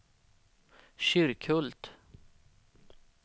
Kyrkhult